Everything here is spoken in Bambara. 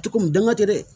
Cogo min danga tɛ dɛ